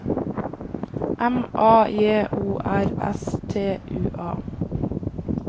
M A J O R S T U A